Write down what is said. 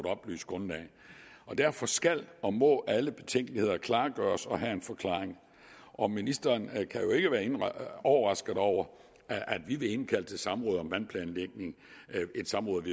oplyst grundlag derfor skal og må alle betænkeligheder klargøres og have en forklaring og ministeren kan jo ikke være overrasket over at vi vil indkalde til samråd om vandplanlægning et samråd